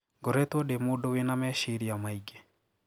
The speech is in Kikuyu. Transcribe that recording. Ngoretwo ndi mũndũ wina meshiria maingĩ.